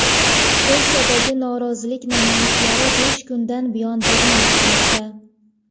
Polshadagi norozilik namoyishlari besh kundan buyon davom etmoqda.